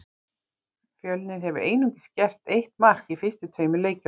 Fjölnir hefur einungis gert eitt mark í fyrstu tveimur leikjunum.